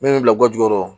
Min bɛ bila kɔjɔ yɔrɔ